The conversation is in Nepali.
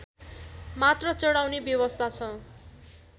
मात्र चढाउने व्यवस्था छ